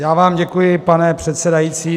Já vám děkuji, pane předsedající.